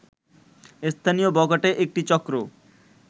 স্থানীয় বখাটে একটি চক্র